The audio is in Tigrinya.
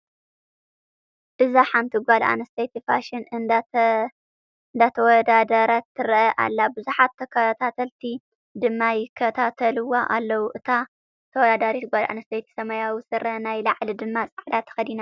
እዛ ሓንቲ ጓለ ኣነስተይቲ ፋሽን እንዳተወዳደረት ትረአ ኣላ። ቡዙሓት ተከታታልቲ ድማ ይከታተልዋ ኣለዉ። እታ ተወዳዳሪት ጓለ ኣነስተይቲ ሰማያዊ ስረን ናይ ላዕሊ ድማ ፃዕዳ ተከዲና ኣላ።